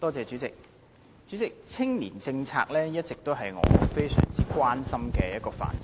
主席，青年政策一直都是我非常關心的範疇。